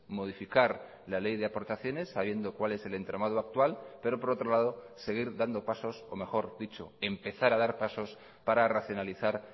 modificar la ley de aportaciones sabiendo cuál es el entramado actual pero por otro lado seguir dando pasos o mejor dicho empezar a dar pasos para racionalizar